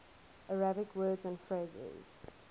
arabic words and phrases